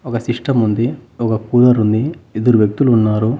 ఒక సిస్టం ఉంది ఒక కూలర్ ఉంది ఇద్దరు వ్యక్తులు ఉన్నారు.